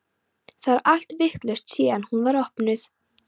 Það er allt vitlaust síðan hún var opnuð.